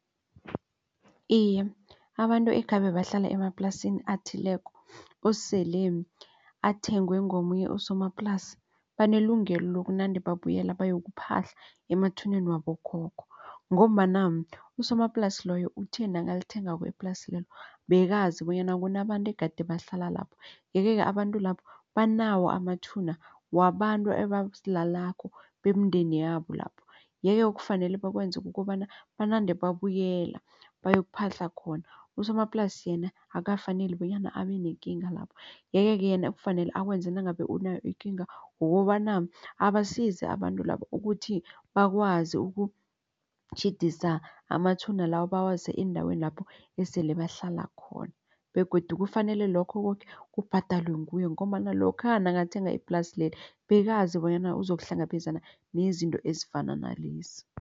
Iye, abantu ekhabe bahlala emaplasini athileko osele athengwe ngomunye usomaplasi banelungelo bokunande babuyela bayokuphahla emathuneni wabokhokho. Ngombana usomaplasi loyo uthe nakalithengako iplasi lelo bekazi bonyana kunabantu egade bahlala lapho. Yeke-ke abantu lapho banawo amathuna wabantu abalalako bemindeni yabo lapho. Yeke kufanele bakwenza kukobana banande babuyela bayokuphahla khona usomaplasi yena akukafaneli bonyana abenekinga lapho. Yeke-ke yena ekufanele akwenze nangabe unayo ikinga ngokobana abasize abantu labo ukuthi bakwazi ukutjhidisa amathuna lawo bawase endaweni lapho esele bahlala khona begodu kufanele lokho koke kubhadalwe nguye ngombana lokha nakathenga iplasi leli bekazi bonyana uzokuhlangabezana nezinto ezifana nalezi.